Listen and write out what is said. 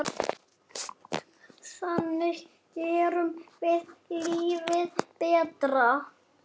Þannig gerum við lífið betra.